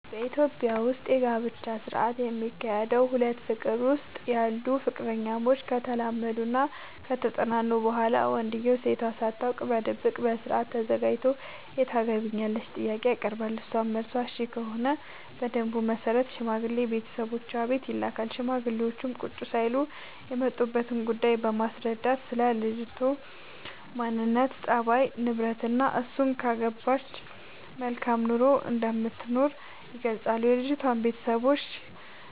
በኢትዮጵያ ዉስጥ የጋብቻ ስነ ስርዓት የሚካሄደዉ ሁለት ፍቅር ዉስጥ ያሉ ፍቅረኛሞች ከተላመዱናከተጠናኑ በኋላ ወንድዬው ሴቷ ሳታውቅ በድብቅ በስርአት ተዘጋጅቶ የታገቢኛለሽ ጥያቄ ያቀርብላታል እሷም መልሷ እሽ ከሆነ በደንቡ መሰረት ሽማግሌ ቤተሰቦቿ ቤት ይልካል ሽማግሌዎቹም ቁጭ ሳይሉ የመጡበትን ጉዳይ በማስረዳትናስለ ልጅቱ ማንነት፣ ፀባይ፤ ንብረትናእሱን ካገባች መልካም ኑሮ እንደምትኖር ይገልጻሉ። የልጅቷም ቤተሰቦች